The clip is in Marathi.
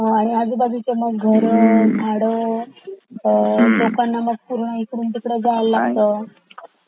आजूबाजूचे मग घरा झाडा लोकांनां मग पूर्ण इकडून तिकडे जावा लागत